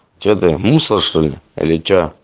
что ты мусор что ли или что